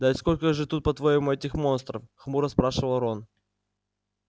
да сколько же тут по-твоему этих монстров хмуро спрашивал рон